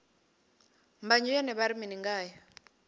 mbanzhe yone vha ri mini ngayo